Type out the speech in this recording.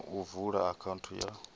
na u vula akhaunthu ya